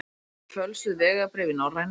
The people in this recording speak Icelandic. Með fölsuð vegabréf í Norrænu